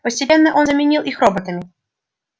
постепенно он заменил их роботами